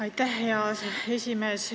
Aitäh, hea esimees!